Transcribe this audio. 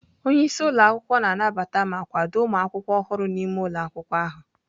Onye isi ụlọ akwụkwọ na-anabata ma kwado ụmụ akwụkwọ ọhụrụ n'ime ụlọ akwụkwọ ahụ.